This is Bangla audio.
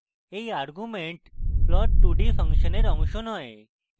এই arguments plot2d ফাংশনের অংশ নয়